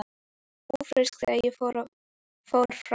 Ég var ófrísk þegar ég fór frá þér.